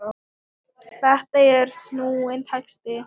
Þetta er snúinn texti.